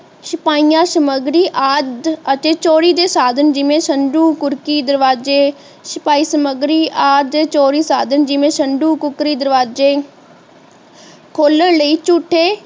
ਛਪਾਇਆ ਸਾਮਗਰੀ ਆਦਿ ਅਤੇ ਚੋਰੀ ਦੇ ਸਾਧਨ ਜਿਵੇਂ ਸੰਦੂਕ ਕੁਰਸੀ ਦਰਵਾਜੇ ਛਪਾਈ ਸਾਮਗਰੀ ਆਦਿ ਚੋਰੀ ਸਾਧਨ ਜੀਵੇ ਸੰਦੂਕ ਕੁਕੜੀ ਦਰਵਾਜੇ ਖੋਲਣ ਲਈ ਝੂਠੇ